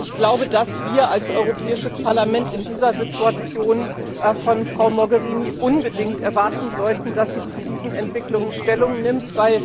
Ich glaube, dass wir als Europäisches Parlament in dieser Situation von Frau Mogherini unbedingt erwarten sollten, dass sie zu diesen Entwicklungen Stellung nimmt.